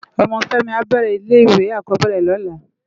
Òmò Femi á bèrè ile iwé ákòbèrè lòlá